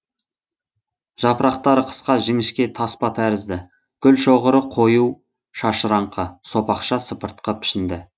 жапырақтары қысқа жіңішке таспа тәрізді гүлшоғыры қою шашыраңқы сопақша сыпыртқы пішінді